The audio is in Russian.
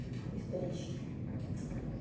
историчке